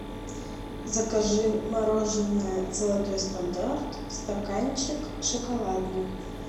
закажи мороженое золотой стандарт стаканчик шоколадный